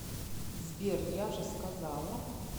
сбер я же сказала